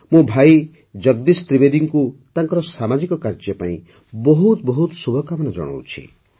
ମୁଁ ଭାଇ ଜଗଦୀଶ ତ୍ରିବେଦୀଙ୍କୁ ତାଙ୍କର ସାମାଜିକ କାର୍ଯ୍ୟ ପାଇଁ ବହୁତ ବହୁତ ଶୁଭକାମନା ଜଣାଉଛି